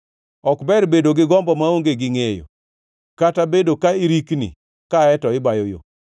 Ok ber bedo gi gombo maonge gi ngʼeyo, kata bedo ka irikni kae to ibayo yo.